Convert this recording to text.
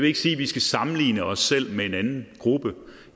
ikke sige at vi skal sammenligne os selv med en anden gruppe